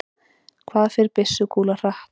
hvað fer byssukúla hratt